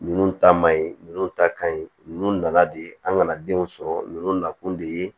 Ninnu ta man ɲi ninnu ta ka ɲi ninnu na la de an kana denw sɔrɔ ninnu nakun de ye